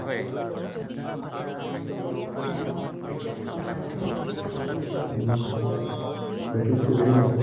practice কৰিব লাগিব।